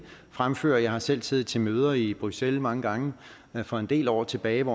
fremføre jeg har selv siddet til møder i bruxelles i mange gange for en del år tilbage